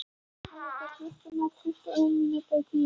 Hann leit á klukkuna: tuttugu og eina mínútu í tíu.